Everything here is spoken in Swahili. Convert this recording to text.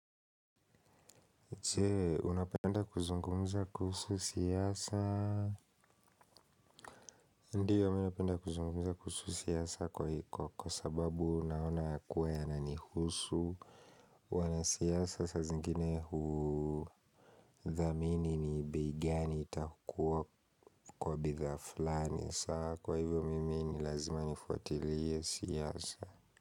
Je, unapenda kuzungumuza kuhusu siyasa? Ndiyo, napenda kuzungumuza kuhusu siyasa kwa hiko, kwa sababu naona kuwa ya nanihusu. Wana siyasa sa zingine huu dhamini ni bei gani itakuwa kwa bitha flani. Kwa hivyo, mimi ni lazima nifuatiliye siyasa.